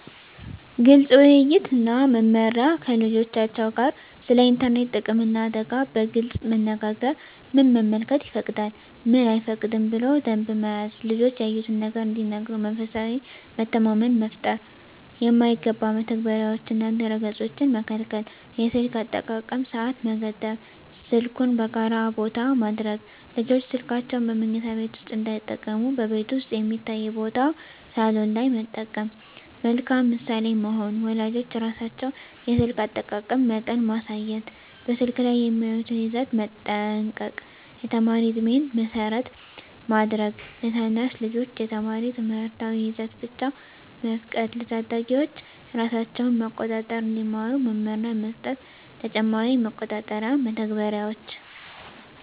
ግልፅ ውይይት እና መመሪያ ከልጆቻቸው ጋር ስለ ኢንተርኔት ጥቅምና አደጋ በግልፅ መነጋገር ምን መመልከት ይፈቀዳል፣ ምን አይፈቀድም ብሎ ደንብ መያዝ ልጆች ያዩትን ነገር እንዲነግሩ መንፈሳዊ መተማመን መፍጠር የማይገባ መተግበሪያዎችንና ድረ-ገፆችን መከልከል የስልክ አጠቃቀም ሰዓት መገደብ ስልኩን በጋራ ቦታ ማድረግ ልጆች ስልካቸውን በመኝታ ቤት ውስጥ እንዳይጠቀሙ በቤት ውስጥ የሚታይ ቦታ (ሳሎን) ላይ መጠቀም መልካም ምሳሌ መሆን ወላጆች ራሳቸው የስልክ አጠቃቀም መጠን ማሳየት በስልክ ላይ የሚያዩትን ይዘት መጠንቀቅ የተማሪ ዕድሜን መሰረት ማድረግ ለታናሽ ልጆች የተማሪ ትምህርታዊ ይዘት ብቻ መፍቀድ ለታዳጊዎች ራሳቸውን መቆጣጠር እንዲማሩ መመሪያ መስጠት ተጨማሪ መቆጣጠሪያ መተግበሪያዎች